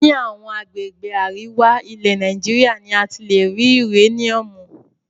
Ní àwọn agbègbè àríwá, ilẹ̀ Nàìjíríà ni a ti lè rí uréníúmù.